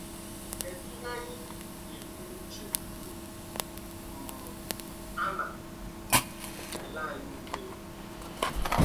Kedụ ihe anyị ga eburu n’uche mgbe um a na - ele anyị ụle?